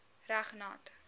reg nat